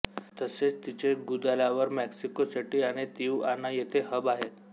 तसेच तिचे Guadalajara Mexico City आणि तिउआना येथे हब आहेत